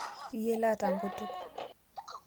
Yiele lata nkutuk